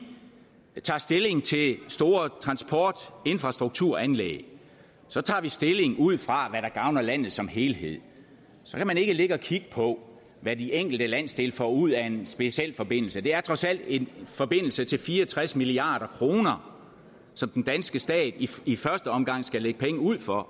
tager stilling til store transport og infrastrukturanlæg tager tager vi stilling ud fra hvad der gavner landet som helhed så kan man ikke ligge og kigge på hvad de enkelte landsdele får ud af en specialforbindelse det er trods alt en forbindelse til fire og tres milliard kr som den danske stat i første omgang skal lægge penge ud for